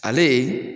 Ale